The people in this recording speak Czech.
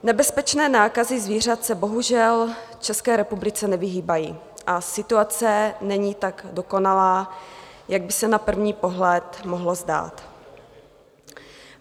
Nebezpečné nákazy zvířat se bohužel v České republice nevyhýbají a situace není tak dokonalá, jak by se na první pohled mohlo zdát.